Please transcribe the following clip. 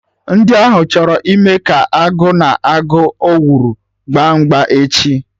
Ndi ahụ chọrọ ịme ka Agụ na agụ owuru gba mgba echi